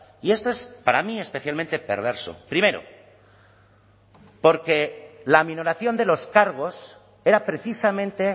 y esto es para mí especialmente perverso primero porque la minoración de los cargos era precisamente